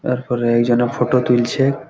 তারপরে একজন এ ফটো তুলছে-এ--